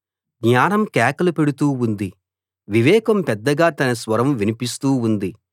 జ్ఞానం కేకలు పెడుతూ ఉంది వివేకం పెద్దగా తన స్వరం వినిపిస్తూ ఉంది